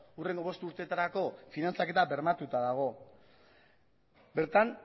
hurrengo bost urteetarako finantzaketa bermatuta dago bertan